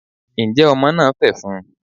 njẹ Omo na fefún?